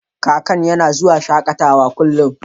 Kakan yana zuwa shakatawa a kullun.